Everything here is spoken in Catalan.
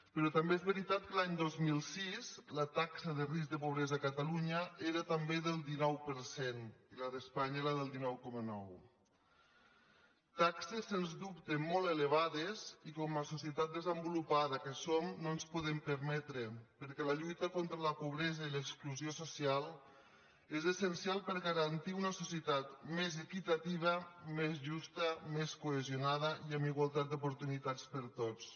però també és veritat que l’any dos mil sis la taxa de risc de pobresa a catalunya era també del dinou per cent i la d’espanya del dinou coma nou taxes sens dubte molt elevades i que com a societat desenvolupada que som no ens podem permetre perquè la lluita contra la pobresa i l’exclusió social és essencial per garantir una societat més equitativa més justa més cohesionada i amb igualtat d’oportunitats per a tots